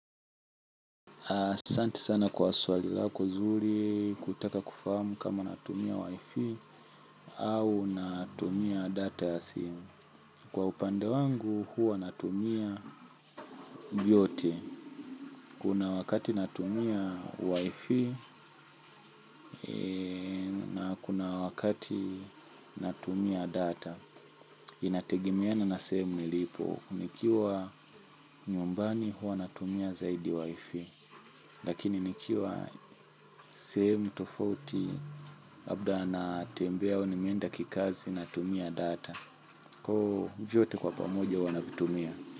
Asante sana kwa swali lako nzuri kutaka kufahamu kama natumia Wifi au natumia data ya simu. Kwa upande wangu huwa natumia vyote. Kuna wakati natumia Wifi na kuna wakati natumia data. Inategemeana na sehemu nilipo. Nikiwa nyumbani huwa natumia zaidi Wifi. Lakini nikiwa sehemu tofauti labda natembea au nimeenda kikazi natumia data oo vyote kwa pamoja huwa navitumia.